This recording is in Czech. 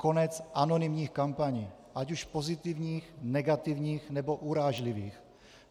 Konec anonymních kampaní, ať už pozitivních, negativních, nebo urážlivých.